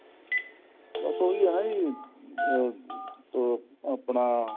ਬਸ ਉਹੀ ਹੈ ਨਾ ਜੀ ਅਹ ਅਹ ਆਪਣਾ